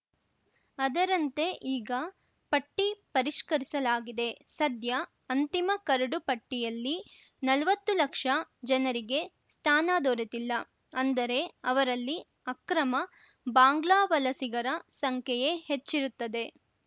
ಅದರಂತೆ ಈಗ ಪಟ್ಟಿ ಪರಿಷ್ಕರಿಸಲಾಗಿದೆ ಸದ್ಯ ಅಂತಿಮ ಕರಡು ಪಟ್ಟಿಯಲ್ಲಿ ನಲ್ವತ್ತು ಲಕ್ಷ ಜನರಿಗೆ ಸ್ಥಾನ ದೊರೆತಿಲ್ಲ ಅಂದರೆ ಅವರಲ್ಲಿ ಅಕ್ರಮ ಬಾಂಗ್ಲಾ ವಲಸಿಗರ ಸಂಖ್ಯೆಯೇ ಹೆಚ್ಚಿರುತ್ತದೆ